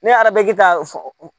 Ne arabe ka f